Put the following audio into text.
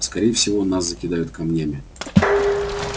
скорее всего нас закидают камнями